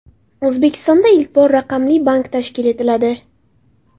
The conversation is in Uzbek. O‘zbekistonda ilk bor raqamli bank tashkil etiladi.